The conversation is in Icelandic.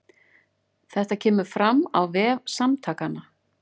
Þetta kemur fram á vef Samtakanna